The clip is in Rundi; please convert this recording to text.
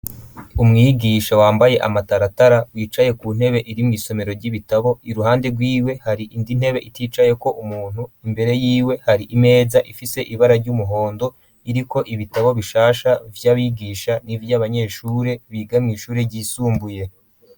Umwigisha wambaye amataratara wicaye ku ntebe iri mw'isomero ry'ibitabo iruhande rw'iwe hari indi ntebe iticaye ko umuntu imbere y'iwe hari imeza ifite ibara ry'umuhondo iri ko ibitabo bishasha vy'abigisha n'ivy'abanyeshuri bigame ishuri ryisumbuye.